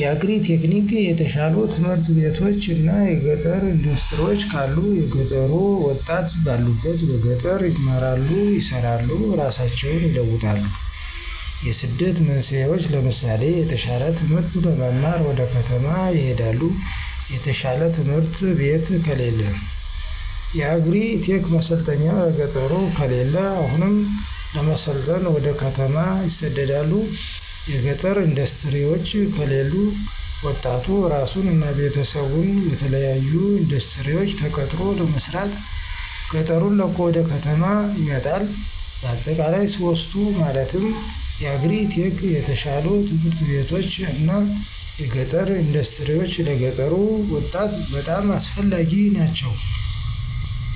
የአግሪ-ቴክኒክ፣ የተሻሉ ትምህርት ቤቶች እና የገጠር እንዳስትሪወች ካሉ የገጠሩ ወጣት ባሉበት በገጠር ይማራሉ፣ ይሰራሉ እራሳቸውን ይለውጣሉ። የስደት መንስኤወች ለምሳሌ የተሻለ ትምህርት ለመማር ወደ ከተማ ይሄዳሉ። የተሻለ ትምህርት ቤት ከለለ። የአግሪ-ቴክ ማሰልጠኛ በገጠሩ ከለለ አሁንም ለመሰልጠን ወደ ከተማ ይሰደዳሉ። የገጠር እንዳስትሪወች ከለሉ ወጣቱ እራሱን እና ቤተሰቡን በተለያሉ እንዳስትሪወች ተቀጥሮ ለመስራት ገጠሩን ለቆ ወደ ከተማ ይመጣል። በአጠቃላይ ሶስቱ ማለትም የአግሪ-ቴክ፣ የተሻሉ ት/ቤቶች እና የገጠር እንዳስትሪወች ለገጠሩ ወጣት በጣም አስፈላጊ ናቸው።